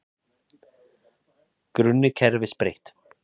Grunni kerfis breytt